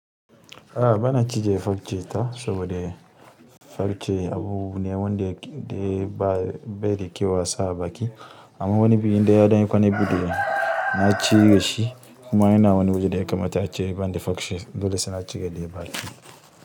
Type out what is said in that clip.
A'a bana cije farce ta saboda farce abune wanda baida kyau a sa abaki amma wani biyu inda ya daina kwanan buɗe na ciyi da shi kuma yana wani waje da ya kamata a ciyi bandi farce dole suna cika deban ki.